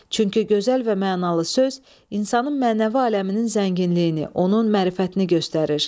Çünki gözəl və mənalı söz insanın mənəvi aləminin zənginliyini, onun mərifətini göstərir.